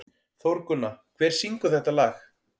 Þórgunna, hver syngur þetta lag?